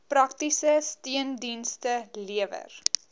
praktiese steundienste lewer